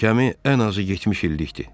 Gəmi ən azı 70 illikdir.